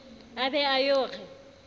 a be a yo re